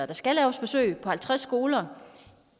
der skal laves forsøg på halvtreds skoler